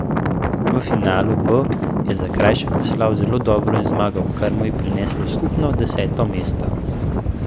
V finalu B je Zakrajšek veslal zelo dobro in zmagal, kar mu je prineslo skupno deseto mesto.